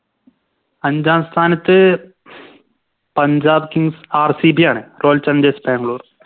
അഞ്ചാം സ്ഥാനത്ത് Punjab kingsRCB ആണ് Royal challengers bangalore